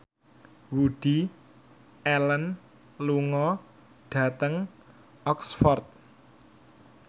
Woody Allen lunga dhateng Oxford